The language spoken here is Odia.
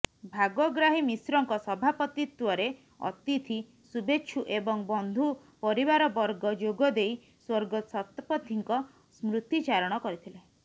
ଭାଗଗ୍ରାହୀ ମିଶ୍ରଙ୍କ ସଭାପତିତ୍ୱରେ ଅତିଥି ଶୁଭେଚ୍ଛୁ ଏବଂ ବନ୍ଧୁ ପରିବାରବର୍ଗ ଯୋଗଦେଇ ସ୍ୱର୍ଗତ ଶତପଥିଙ୍କ ସ୍ମୃତିଚାରଣ କରିଥିଲେ